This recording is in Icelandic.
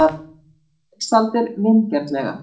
segir Mensalder vingjarnlega.